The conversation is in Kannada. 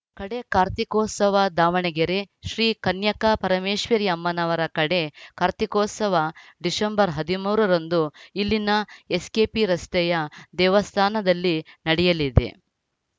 ಕಡೇ ಕಾರ್ತಿಕೋತ್ಸವ ದಾವಣಗೆರೆ ಶ್ರೀ ಕನ್ಯಕಾ ಪರಮೇಶ್ವರಿ ಅಮ್ಮನವರ ಕಡೇ ಕಾರ್ತಿಕೋತ್ಸವ ಡಿಸೆಂಬರ್ ಹದಿಮೂರ ರಂದು ಇಲ್ಲಿನ ಎಸ್‌ಕೆಪಿ ರಸ್ತೆಯ ದೇವಸ್ಥಾನದಲ್ಲಿ ನಡೆಯಲಿದೆ